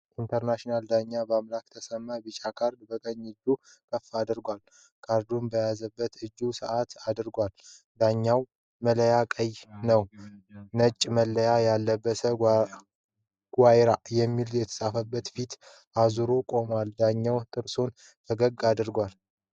ኢንተርናሽናሽናል ዳኛ ባምላክ ተሰማ ቢጫ ካርድ በቀኝ እጁ ከፍ አድርጓል። ካርዱን በያዘበት እጁ ሰዓት አድርጓል። የዳኛዉ ማለያ ቀይ ነዉ። ነጭ ማለያ የለበሰ "ጉይራ" የሚል የተፃፈበት ፊቱን አዞሮ ቆሟል። ዳኛዉ ጥርሶቹን ፈገግ አድርጓል።